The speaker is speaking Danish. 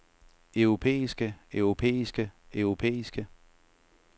europæiske europæiske europæiske